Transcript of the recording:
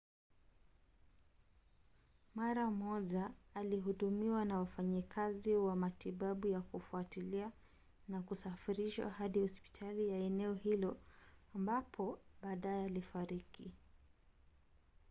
mara moja alihudumiwa na wafanyikazi wa matibabu ya kufuatilia na kusafirishwa hadi hospitali ya eneo hilo ambapo baadaye alifariki